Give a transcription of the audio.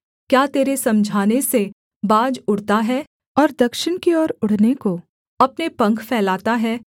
क्या तेरे समझाने से बाज उड़ता है और दक्षिण की ओर उड़ने को अपने पंख फैलाता है